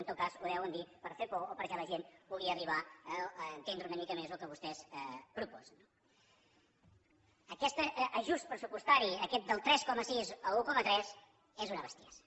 en tot cas ho deuen dir per fer por o perquè la gent pugui arribar a entendre una mica més el que vostès proposen no aquest ajust pressupostari aquest del tres coma sis a l’un coma tres és una bestiesa